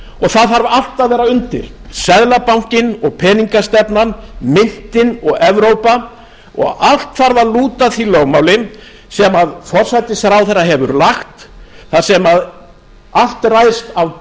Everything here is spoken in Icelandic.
það þarf allt að vera undir seðlabankinn og peningastefnan myntin og evrópa og allt þarf að lúta því lögmáli sem forsætisráðherra hefur lagt þar sem allt ræðst af